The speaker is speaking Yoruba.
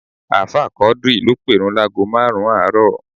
Ààfáà Quadri ló pèrun láágo márùn-ún àárọ̀